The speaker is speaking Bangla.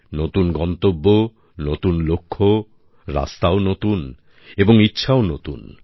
নতুন গন্তব্য নতুন লক্ষ্য রাস্তাও নতুন এবং ইচ্ছাও নতুন